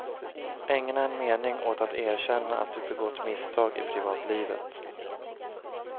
Ägna en mening åt att erkänna att du begått misstag i privatlivet.